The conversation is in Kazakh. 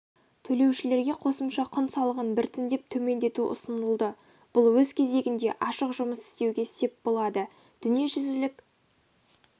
төлеушілерге қосымша құн салығын біртіндеп төмендету ұсынылды бұл өз кезегінде ашық жұмыс істеуге сеп болады дүниежүзілік